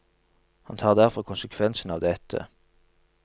Han tar derfor konsekvensen av dette.